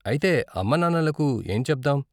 అయితే అమ్మా నాన్నలకు ఏం చెప్దాం?